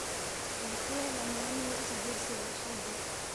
Waa kuwee lammaanihi is guursaday Axaddii?